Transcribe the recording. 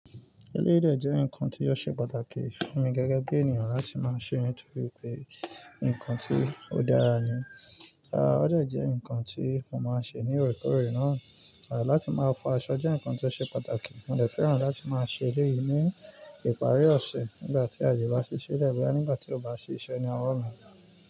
Eléyìí de jẹ́ nǹkan tí ó ṣe pàtàkì fún mi gẹ́gẹ́ bí ènìyàn láti máa ṣe nítorí pé, ǹkan tí ó dára ni. Ó dẹ̀ jẹ́ ǹkan tí mo máa ń ṣe ní òrekoore náà, láti máa fọ aṣọ jẹ́ ǹkan tí ó ṣe pàtàkì. Mo dẹ̀ fẹ́ràn láti máa ṣe èleyí ní ìparí ọ̀sẹ̀, nígbà tí àye bá sí sílẹ̀ boya nígbà tí ó bá sì ise ni owo mi.